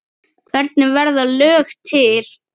Hvernig verða lög til?